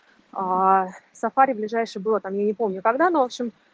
а сафари ближайший было там я не помню когда но в общем